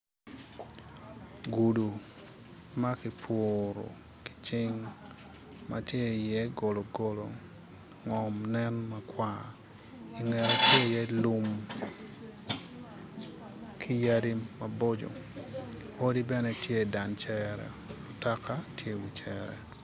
Gudu ma ki puru ki cing ma tye iye gologolo ngom nen makwar i ngete nen lum ki yadi maboco odi bene tye i dan cere mutoka tye i wi cere.